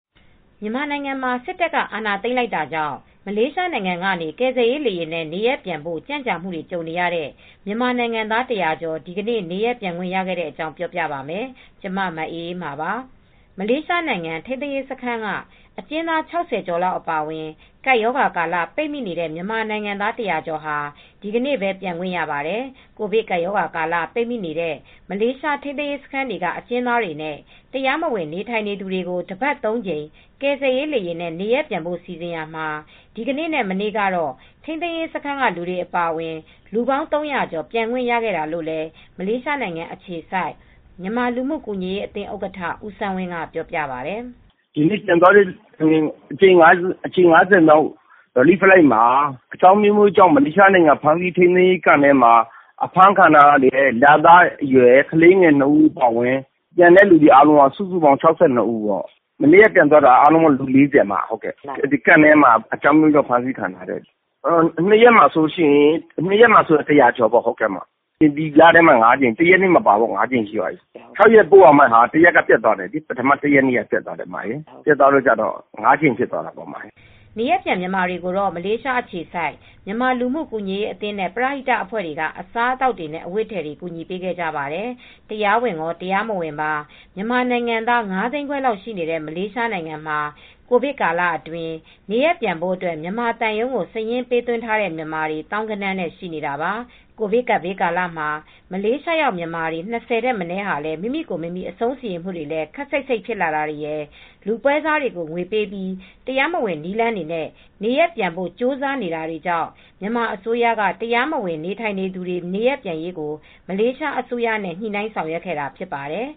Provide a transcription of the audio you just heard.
မြန်မာနိုင်ငံမှာ စစ်တပ်က အာဏာသိမ်းလိုက်တာကြောင့် မလေးရှားနိုင်ငံကနေ ကယ်ဆယ်ရေးလေယာဉ်နဲ့ နေရပ်ပြန်ဖို့ ကြန့်ကြာမှုတွေ ကြုံခဲ့ရတဲ့ မြန်မာနိုင်ငံသား ၁၀၀ ကျော် ဒီနေ့ပဲ နေရပ်ပြန်ခွင့်ရခဲ့တဲ့အကြောင်း ပြောပြပါမယ်။ ကျမ မအေးအေးမာပါ။ မလေးရှားနိုင်ငံ ထိမ်းသိမ်းရေးစခန်းက အကျဉ်းသား ၆၀ကျော်လောက် အပါအဝင် ကပ်ရောဂါကာလ ပိတ်မိနေတဲ့မြန်မာနိုင်ငံသား ၁၀၀ ကျော်ဟာ ဒီနေ့ပဲ ပြန်ခွင့်ရပါတယ် ။ ကိုဗစ်ကပ်ရောဂါကာလ ပိတ်မိနေတဲ့ မလေးရှားထိမ်းသိမ်းရေးစခန်းက အကျဉ်းသားတွေနဲ့ တရားမဝင်နေထိုင်သူတွေကို တပတ် ၃ကြိမ် ကယ်ဆယ်ရေး လေယာဉ်နဲ့ နေရပ်ပြန်ဖို့စီစဉ်ရာမှာ ဒီကနေ့နဲ့မနေ့က တော့ ထိမ်းသိမ်းရေးစခန်းကလူတွေအပါအဝင် လူပေါင်း ၃၀၀ကျော် ပြန်ခွင့်ရခဲ့တာလို့လည်း မလေးရှားနိုင်ငံအခြေစိုက် မြန်မာလူမူကူညီရေးအသင်းဥက္ကဌဦးစန်းဝင်းက ပြောပါတယ်။ "ဒီနေ့ပြန်သွားတဲ့အကြိမ် ၅၀မြောက် ကယ်ဆယ်ရေးလေယာဉ်မှာ အကြောင်းအမျိုးမျိုးကြောင့် မလေးရှားထိမ်းသိမ်းရေးစခန်းတွေမှာ ဖမ်းဆီးခံထားတဲ့ရတဲ့လသားကလေး၂ဦးအပါအဝင်၆၂ဦး လည်းပါတယ် မနေ့ကပြန်သွားတာ ၄၀ လောက်ကလည်းအကျဉ်းသားတွေပဲ ထိမ်းသိမ်းရေးစခန်းတွေကလူတွေပါ ၂ရက်အတွင်းဆို လူ ၁၀၀ကျော်ပြန်သွားပါတယ် ဒီလထဲမှာ ၅ကြိမ်ရှိသွားပြီ ၆ ကြိမ်ပို့ရမှာ ဒီလ ၁ရက်နေ့ကပျက်သွားတယ် အခု ၅ကြိမ်ပဲဖြစ်သွားတယ် နေရပ်ပြန်မြန်မာတွေကိုတော့ မလေးရှားအခြေစိုက်မြန်မာလူမူ့ကူညီရေးအသင်း နဲ့ပရဟိတအဖွဲ့ တွေက အစားအသောက်နဲ့အဝတ်အထည်တွေ ကူညီပေးခဲ့ကြပါတယ် ။ တရားဝင်ရောတရားမဝင်ပါ မြန်မာနိုင်ငံသား၅သိန်းခွဲလောက်ရှိနေတဲ့မလေးရှားနိုင်ငံမှာကိုဗစ်ကာလအတွင်းမှာနေရပ်ပြန်ဖို့အတွက် မြန်မာသံရုံးကို စာရင်းပေးသွင်းထားတဲ့မြန်မာတွေ သောင်းဂဏန်းနဲ့ှရှိနေတာပါ ။ ကိုဗစ်ကပ်ဘေးကာလမှာ မလေးရှားရောက် မြန်မာ၂၀ထက်မနည်းဟာမိမိကိုယ်မိမိအဆုံးစီရင်မူတွေလည်း ခပ်စိတ်စိတ်ဖြစ်လာတွေရယ် လူပွဲစားတွေကိုငွေပေးပြီး တရားမဝင်နည်းလမ်းတွေနဲ့နေရပ်ပြန်ဖို့ကြိုးစားနေတာတွေကြောင့် မြန်မာအစိုးရက တရားမဝင်နေထိုင်သူတွေနေရပ်ပြန်နိုင်ရေးကိုမလေးရှားအစိုးရနဲ့ညှိနှိုင်းဆောင်ရွက်ခဲ့တာဖြစ်ပါတယ်